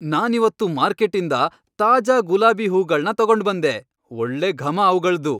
ನಾನಿವತ್ತು ಮಾರ್ಕೆಟ್ಟಿಂದ ತಾಜಾ ಗುಲಾಬಿ ಹೂಗಳ್ನ ತಗೊಂಡ್ಬಂದೆ.. ಒಳ್ಳೆ ಘಮ ಅವ್ಗಳ್ದು.